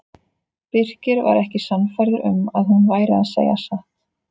Birkir var ekki sannfærður um að hún væri að segja satt.